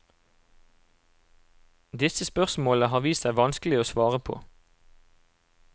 Disse spørsmålene har vist seg vanskelige å svare på.